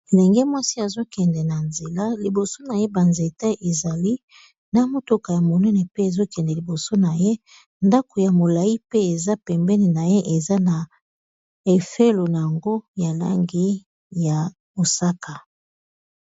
ndenge mwasi azokende na nzela liboso na ye banzete ezali na motoka ya monene pe ezokende liboso na ye ndako ya molai pe eza pembeni na ye eza na fololo ya langi ya mosaka